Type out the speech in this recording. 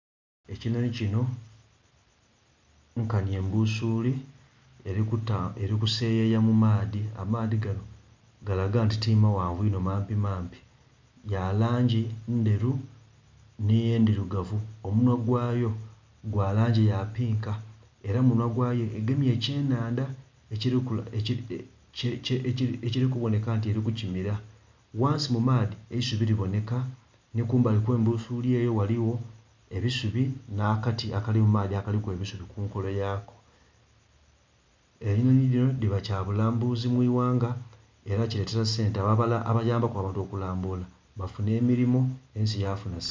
Ekinhonhi kinho nkanhi embusuli erikuseyeya mu maadhi, amaadhi ganho galaga nti to maghanvu inho mampi mampi ya langi ndheru nhe ndhirugavu omunhwa gwayo gwa langi ya pinka era mu munhwa gwa yo egemyemu ekye nhadha ekili ku bonheka nti eri ku kimira. Ghansi mu maadhi eisubi li bonheka nho kumbali okwe mbusuli eyo ghaligho busubi nha kati akali mu maadhi akaliku eisubi ku nkolo yako . Enhonhi dhino dhiba kya bulambuzi mwighanga era kiletela sente abo abayambaku abantu okulambula bafunha emirimo ensi yafunha sente.